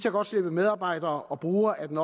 godt slippe medarbejdere og brugere af den